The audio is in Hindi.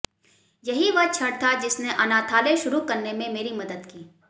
यही वह क्षण था जिसने अनाथालय शुरू करने में मेरी मदद की